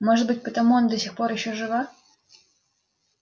может быть потому она до сих пор ещё жива